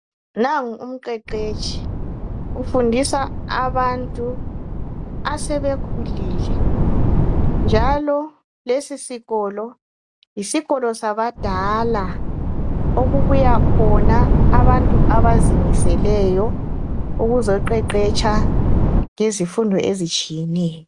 Nangu umqeqetshi ufundisa abantu asebekhulile njalo lesisikolo yisikolo sabantu abadala okubuya khona abantu abazimiseleyo ukuzoqeqetsha izifundo ezitshiyeneyo